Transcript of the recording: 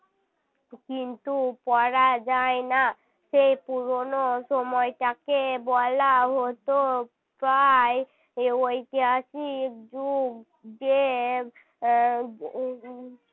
কিন্তু পড়া যায় না সেই পুরনো সময়টাকে বলা হত প্রাগৈতিহাসিক যুগ যে উম